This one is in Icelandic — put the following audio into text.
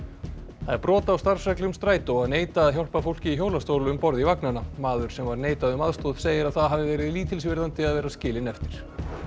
það er brot á starfsreglum Strætó að neita að hjálpa fólki í hjólastól um borð í vagnana maður sem var neitað um aðstoð segir að það hafi verið lítilsvirðandi að vera skilinn eftir